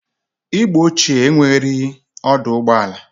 Igbo ochie enwereghi ọdụ ụgbọ ala.